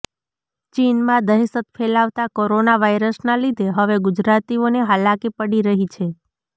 ચીનમાં દહેશત ફેલાવતા કોરોના વાયરસના લીધે હવે ગુજરાતીઓને હાલાકી પડી રહી છે